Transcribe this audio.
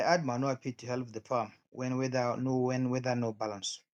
i add manure pit to help the farm when weather no when weather no balance